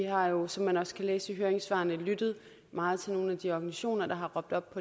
har jo som man også kan læse i høringssvarene lyttet meget til nogle af de organisationer der har råbt op